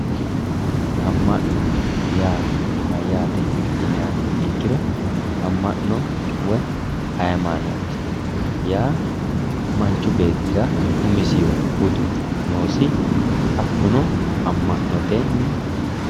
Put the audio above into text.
Ama'no yaa mayate yinniha ikkiro ama'no woyi hayimanoti yaa manchu beettira umisihu budu noosi hakkuno ama'notenni.